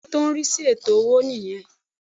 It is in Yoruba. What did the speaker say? Bẹ́ẹ̀ni Ilè ìṣẹ́ tó n rí sí ètò owó nì yan